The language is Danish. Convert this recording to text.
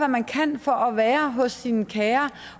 man kan for at være hos sine kære